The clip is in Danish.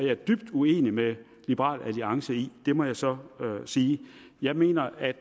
jeg dybt uenig med liberal alliance i det må jeg så sige jeg mener at